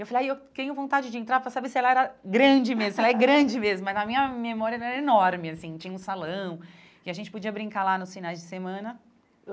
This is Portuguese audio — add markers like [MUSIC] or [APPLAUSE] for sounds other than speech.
Eu falei, aí eu tenho vontade de entrar para saber se ela era grande mesmo, se ela é grande mesmo, mas a minha memória [UNINTELLIGIBLE] era enorme, assim, tinha um salão, e a gente podia brincar lá nos finais de semana.